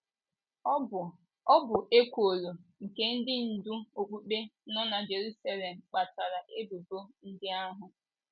Ọ bụ Ọ bụ ekworo nke ndị ndú okpukpe nọ na Jeruselem kpatara ebubo ndị ahụ.